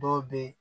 Dɔw be yen